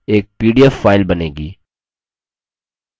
एक pdf file बनेगी